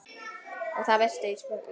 Og það veistu Ísbjörg mín.